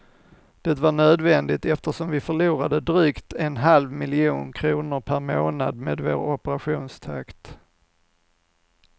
Det var nödvändigt, eftersom vi förlorade drygt en halv miljon kronor per månad med vår operationstakt.